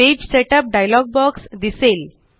page setup dialog box दिसेल